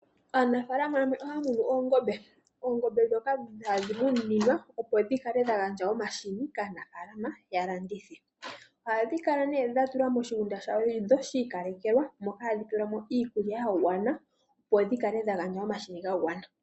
Aanafaalama yamwe ohaa munu oongombe opo dhi gandje omahini kaanafaalalama ya landithe. Ohadhi kala dha tulwa moshigunda shi ikalekelwa mono hadhi pelwa mo iikulya ya gwana opo dhi gandje omahini ga gwana.